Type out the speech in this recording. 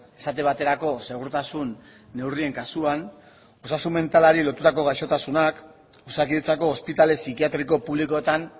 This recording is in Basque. esate baterako segurtasun neurrien kasuan osasun mentalari lotutako gaixotasunak osakidetzako ospitale psikiatriko publikoetan